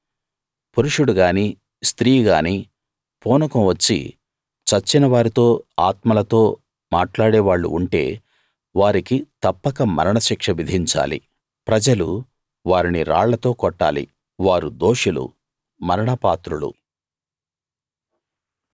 పురుషుడుగానీ స్త్రీగానీ పూనకం వచ్చి చచ్చిన వారితో ఆత్మలతో మాట్లాడే వాళ్ళు ఉంటే వారికి తప్పక మరణ శిక్ష విధించాలి ప్రజలు వారిని రాళ్లతో కొట్టాలి వారు దోషులు మరణ పాత్రులు